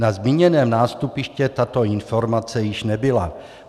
Na zmíněném nástupišti tato informace již nebyla.